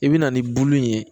I bɛ na ni bulu ye